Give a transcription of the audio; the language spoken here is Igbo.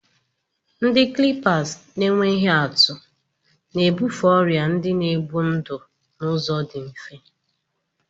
Ndị clippers na-enweghị atụ na-ebufe ọrịa ndị na-egbu ndụ n'ụzọ dị mfe.